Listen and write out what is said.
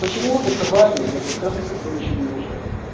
почему это важно для пациента которые ещё не рожали